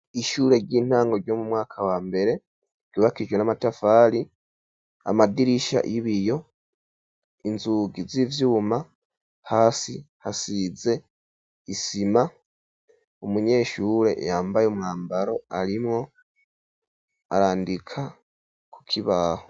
Ishure ry'intango ryo mu mwaka wa mbere ryubakijwe n'amatafari, amadirisha y'ibiyo, inzugi z'ivyuma, hasi hasize isima, umunyeshure yambaye umwambaro arimwo arandika ku kibaho.